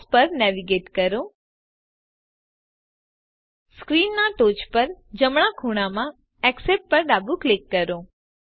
fonts પર navigate કરો screen ના ટોચ પર જમણા ખૂણામાં એક્સેપ્ટ પર ડાબું ક્લિક કરો